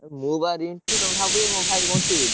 ମୁଁ ବା ରିଣ୍ଟୁ ତମେ ଭାବୁଛ ମୋ ଭାଇ ବଣ୍ଟି ବୋଲି।